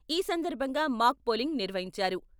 ఈ సందర్భంగా mock polling నిర్వహించారు.